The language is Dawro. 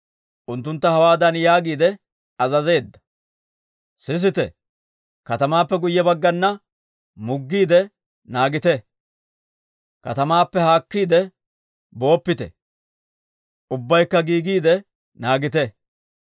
Unttuntta hawaadan yaagiide azazeedda; «sisite, katamaappe guyye baggana muggiide naagite. Katamaappe haakkiide booppite; ubbaykka giigiide naagite.